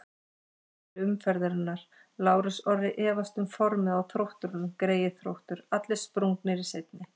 Ummæli umferðarinnar: Lárus Orri efast um formið á Þrótturum Greyið Þróttur, allir sprungnir í seinni.